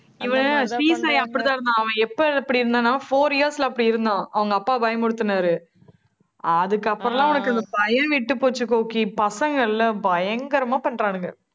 இவன் அப்படித்தான் இருந்தான். அவன் எப்ப அப்படி இருந்தானா, four years ல அப்படி இருந்தான். அவங்க அப்பா பயமுறுத்தினாரு. அதுக்கப்புறம்ல அவனுக்கு அந்த பயம் விட்டுப்போச்சு கோகி. பசங்க இல்ல? பயங்கரமா பண்றானுங்க